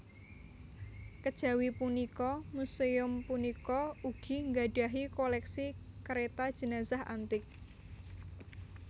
Kejawi punika muséum punika ugi nggadhahi koléksi kereta jenazah antik